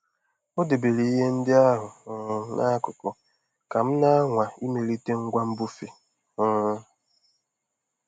O debere ihe ndị ahụ um n'akụkụ ka m na-anwa imelite ngwa mbufe. um